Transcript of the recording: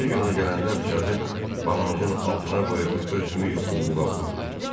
Ertəsi gün ona gələndə bıçağı balancın altına qoyub özümü yuxuluğa vurdum.